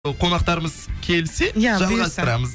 қонақтарымыз келсе жалғастырамыз